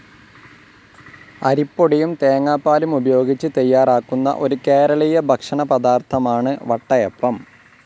അരിപൊടിയും തേങ്ങാപ്പാലും ഉപയോഗിച്ച് തയ്യാറാക്കുന്ന, ഒരു കേരളീയ ഭക്ഷണപദാർത്ഥമാണ് വട്ടയപ്പം.